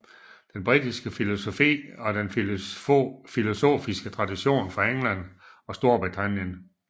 Den britiske filosofi er den filosofiske tradition fra England og Storbritannien